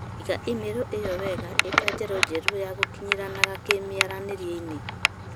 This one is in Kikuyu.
Iga i-mīrū īo wega ī ta njīra njerū ya gūkinyīranaga kīmīaranīrie-inī